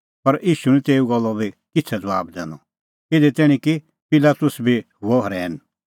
पर ईशू निं तेऊए गल्लो बी किछ़ै ज़बाब दैनअ इधी तैणीं कि पिलातुस बी हुअ रहैन